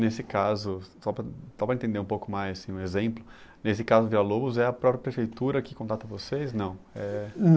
Nesse caso, só para, só para entender um pouco mais, assim, um exemplo, nesse caso do Vila-Lobos é a própria prefeitura que contrata vocês, não? É